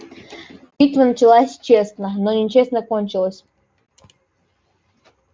битва началась честно но нечестно кончилась